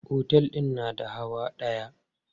Otel din na da hawa dayawa.